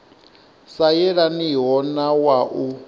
sa yelaniho na wa u